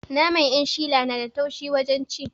Naman 'yanshila na da taushe wajen ci